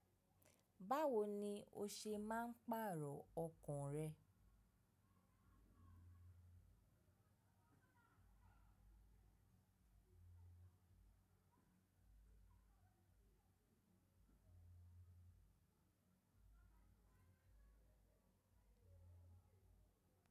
Báwo ni o ṣe máa ń pààrọ̀ ọkàn rẹ?